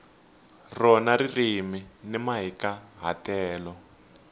rona ririmi ni mahikahatelo